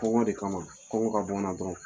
Kɔngɔ de kama kɔngɔ ka bɔ n na dɔrɔn.